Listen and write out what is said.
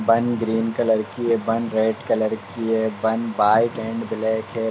बन green colour की है। बन रेड कलर की है। बन व्हाइट एंड ब्लैक है।